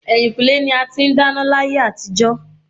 Ẹ̀yìnkùlé ni a ti ń dáná láyé àtijó.